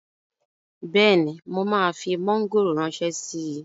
Bẹ́ẹ̀ni, mo máa fi mọ́ngòrò ránṣẹ́ síi